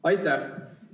Aitäh!